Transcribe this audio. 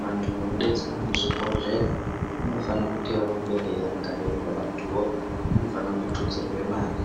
Vanhu vanodetsera muzvibhedhlera vanofanire kurambe veirangarirwa. Vanhuvo vanofanire kututsirwe mare